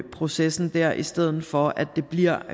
processen der i stedet for at det bliver